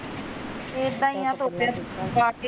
ਏਦਾਂ ਈ ਐ ਧੁੱਪੇ ਵਾਕੇ